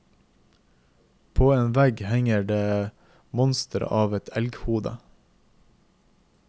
På en vegg henger et monster av et elghode.